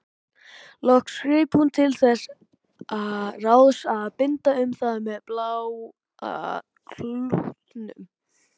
Loks greip hún til þess ráðs að binda um það með bláa klútnum.